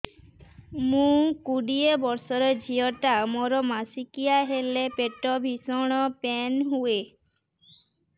ମୁ କୋଡ଼ିଏ ବର୍ଷର ଝିଅ ଟା ମୋର ମାସିକିଆ ହେଲେ ପେଟ ଭୀଷଣ ପେନ ହୁଏ